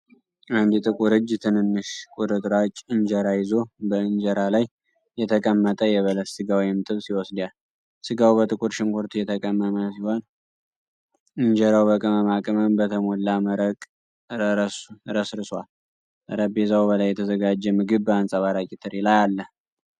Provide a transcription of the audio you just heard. አንድ ጥቁር እጅ ትንንሽ ቁርጥራጭ እንጀራ ይዞ በእንጀራ ላይ የተቀመጠ የበሰለ ሥጋ (ጥብስ) ይወስዳል። ሥጋው በጥቁር ሽንኩርት የተቀመመ ሲሆን፣ ኢንጄራው በቅመማ ቅመም በተሞላ መረቅ ተረስርሷል። ጠረጴዛው ላይ የተዘጋጀ ምግብ በአንጸባራቂ ትሪ ላይ አለ።